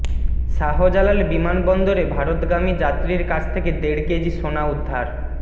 শাহজালাল বিমানবন্দরে ভারতগামী যাত্রীর কাছ থেকে দেড় কেজি সোনা উদ্ধার